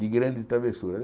de grandes travessuras.